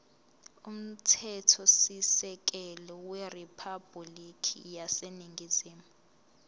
umthethosisekelo weriphabhulikhi yaseningizimu